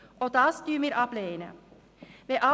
Auch das lehnen wir ab.